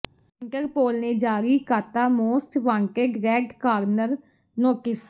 Interpol ਨੇ ਜਾਰੀ ਕਾਤਾ most wanted red corner notice